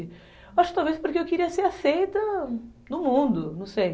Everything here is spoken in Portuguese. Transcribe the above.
Acho que talvez porque eu queria ser aceita no mundo, não sei.